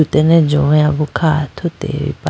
atene johoya bo kha athuti ba.